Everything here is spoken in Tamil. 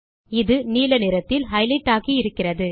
இது நீல நிறத்தில் ஹைலைட் ஆகியிருக்கிறது